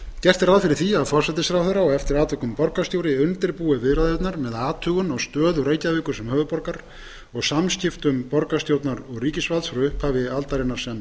gert er ráð fyrir að forsætisráðherra og eftir atvikum borgarstjóri undirbúi viðræðurnar með athugun á stöðu reykjavíkur sem höfuðborgar og samskiptum borgarstjórnar og ríkisvalds frá upphafi aldarinnar sem